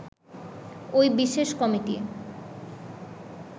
ওই বিশেষ কমিটি